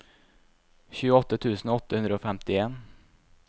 tjueåtte tusen åtte hundre og femtien